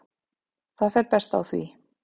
Það fer best á því.